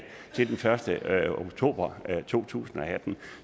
den første oktober to tusind og atten